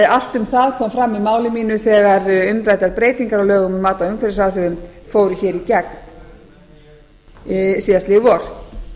allt um það kom fram í máli mínu þegar umræddar breytingar á lögum um mat á umhverfisáhrifum fóru hér í gegn síðastliðið